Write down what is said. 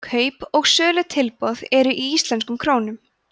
kaup og sölutilboð eru í íslenskum krónum